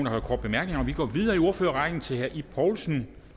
har korte bemærkninger og vi går videre i ordførerrækken til herre ib poulsen